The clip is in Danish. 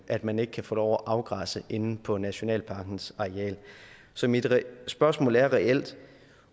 at man ikke kan få lov til at afgræsse inde på nationalparkens areal så mit spørgsmål er reelt